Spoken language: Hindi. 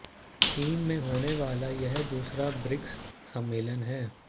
चीन में होने वाला यह दूसरा ब्रिक्स सम्मेलन है